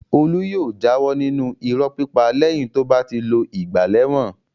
Olú yóò jáwọ́ nínú irọ́ pípa lẹ́yìn tó bá ti lo ìgbà lẹ́wọ̀n.